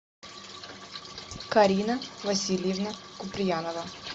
карина васильевна куприянова